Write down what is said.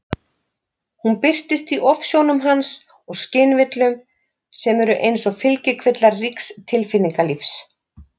Hún birtist í ofsjónum hans og skynvillum, sem eru eins og fylgikvillar ríks tilfinningalífs.